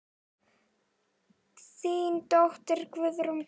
Þín dóttir, Guðrún Björg.